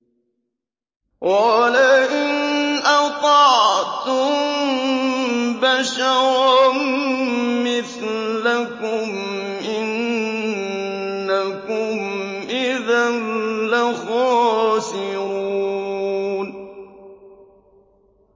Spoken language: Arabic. وَلَئِنْ أَطَعْتُم بَشَرًا مِّثْلَكُمْ إِنَّكُمْ إِذًا لَّخَاسِرُونَ